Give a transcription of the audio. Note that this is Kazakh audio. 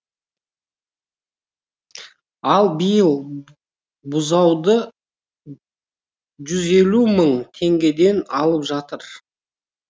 ал биыл бұзауды жүз елу мың теңгеден алып жатыр